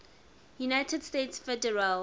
united states federal